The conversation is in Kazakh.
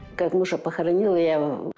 как мужа похоронила я ы